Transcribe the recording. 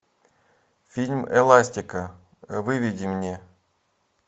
фильм эластика выведи мне